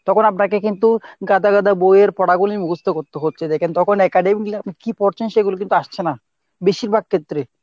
তখন আপনাকে কিন্তু গাদা গাদা বইয়ের পড়াগুলি মুখস্ত করতে হচ্ছে দেখেন তখন academy কী পড়ছেন সেগুলো কিন্তু আসছে না , বেশিরভাগ ক্ষেত্রে।